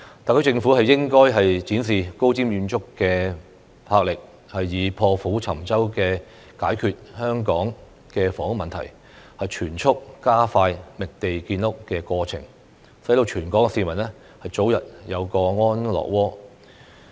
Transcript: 特區政府應該展示高瞻遠矚的魄力，以破釜沉舟的決心解決香港的房屋問題，全速加快覓地建屋的過程，讓全港市民早日有個安樂窩。